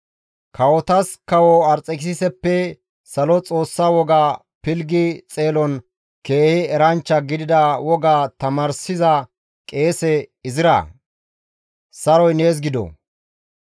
Kawotas kawo Arxekisiseppe salo Xoossa woga pilggi xeelon keehi eranchcha gidida woga tamaarsiza qeese Izraa! Saroy nees gido;